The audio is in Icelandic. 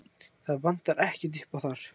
Það vantar ekkert uppá þar.